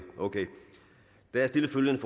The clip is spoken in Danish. der er stillet følgende